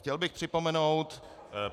Chtěl bych připomenout -